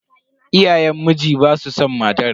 Iyayen mijin basu san matar.